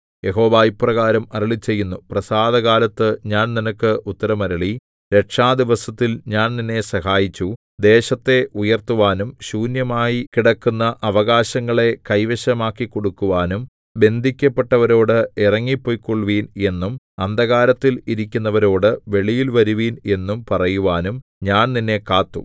യഹോവ ഇപ്രകാരം അരുളിച്ചെയ്യുന്നു പ്രസാദകാലത്തു ഞാൻ നിനക്ക് ഉത്തരം അരുളി രക്ഷാദിവസത്തിൽ ഞാൻ നിന്നെ സഹായിച്ചു ദേശത്തെ ഉയർത്തുവാനും ശൂന്യമായി കിടക്കുന്ന അവകാശങ്ങളെ കൈവശമാക്കിക്കൊടുക്കുവാനും ബന്ധിക്കപ്പെട്ടവരോട് ഇറങ്ങി പെയ്ക്കൊള്ളുവിൻ എന്നും അന്ധകാരത്തിൽ ഇരിക്കുന്നവരോട് വെളിയിൽ വരുവിൻ എന്നും പറയുവാനും ഞാൻ നിന്നെ കാത്തു